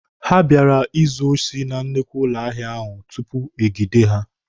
Ha bịara izu osi na nnukwu ụlọ ahịa ahụ tupu egide ha.